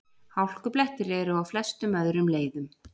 Hálkublettir eru á flestum öðrum leiðum